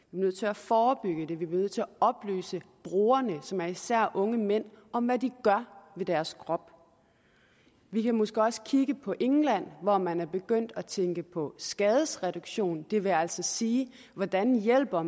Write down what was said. nødt til at forebygge det vi bliver nødt til at oplyse brugerne som især er unge mænd om hvad de gør ved deres krop vi kan måske også kigge på england hvor man er begyndt at tænke på skadesreduktion og det vil altså sige hvordan man hjælper